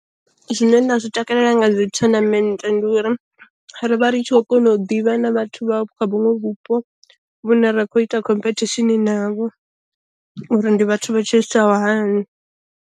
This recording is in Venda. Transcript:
Zwine nda zwi takalela nga dzi thonamennde ndi uri rivha ritshi kho kona u ḓivha na vhathu vha kha vhunwe vhupo vhune ra khou ita khomphethishini navho, uri ndi vhathu vha tshilisaho hani.